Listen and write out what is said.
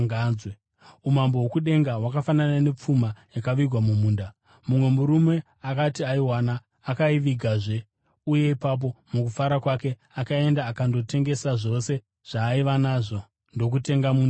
“Umambo hwokudenga hwakafanana nepfuma yakavigwa mumunda. Mumwe murume akati aiwana, akaivigazve, uye ipapo mukufara kwake, akaenda akandotengesa zvose zvaaiva nazvo ndokutenga munda iwoyo.